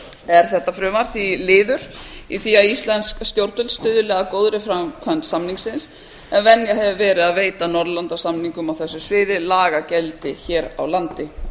er þetta frumvarp því liður í því að íslensk stjórnvöld stuðli að góðri framkvæmd samningsins en venja hefur verið að veita norðurlandasamningum á þessu sviði lagagildi hér á landi